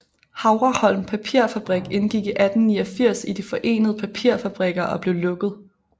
Havreholm Papirfabrik indgik i 1889 i De forenede Papirfabrikker og blev lukket